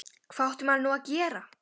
Hvað átti maður nú að gera?